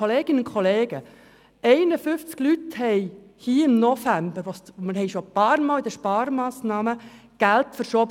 Kolleginnen und Kollegen, wir haben schon einige Male Geld zu den Gemeinden verschoben.